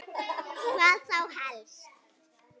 Hvað þá helst?